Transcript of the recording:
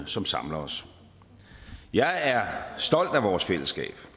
som samler os jeg er stolt af vores fællesskab